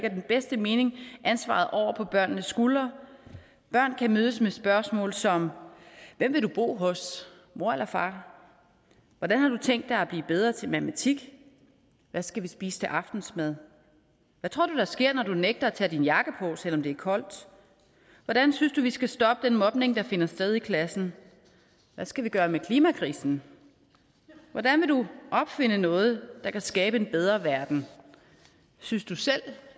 i den bedste mening ansvaret over på børnenes skuldre børn kan mødes med spørgsmål som hvem vil du bo hos mor eller far hvordan har du tænke dig at blive bedre til matematik hvad skal vi spise til aftensmad hvad tror du der sker når du nægter at tage din jakke på selv om det er koldt hvordan synes du vi skal stoppe den mobning der finder sted i klassen hvad skal vi gøre ved klimakrisen hvordan vil du opfinde noget der kan skabe en bedre verden synes du selv